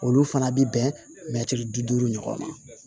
Olu fana bɛ bɛn mɛtiri bi duuru ɲɔgɔn ma